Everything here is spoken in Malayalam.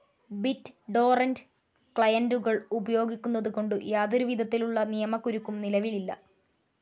ബിറ്റ്‌ ടോറന്റ്‌ ക്ലയന്റുകൾ ഉപയോഗിക്കുന്നതു കൊണ്ട് യാതൊരു വിധത്തിലുള്ള നിയമകുരുക്കും നിലവിലില്ല.